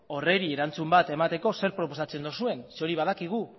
horri erantzun bat emateko zer proposatzen duzuen zeren hori badakigu